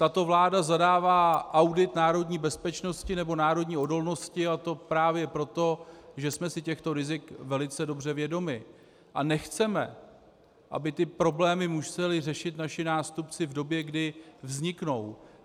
Tato vláda zadává audit národní bezpečnosti nebo národní odolnosti, a to právě proto, že jsme si těchto rizik velice dobře vědomi a nechceme, aby ty problémy museli řešit naši nástupci v době, kdy vzniknou.